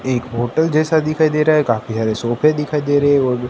एक होटल जैसा दिखाई दे रहा है काफी सारे सोफे दिखाई दे रहे और--